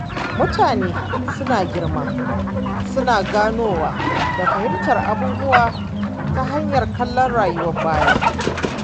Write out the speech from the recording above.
Mutane suna girma suna ganowa da fahimtar abubuwa ta hanyar kallon rayuwar baya.